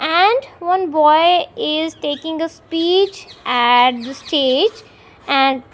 and one boy is taking a speech at the stage and --